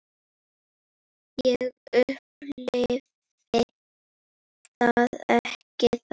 Ég upplifi það ekki þannig.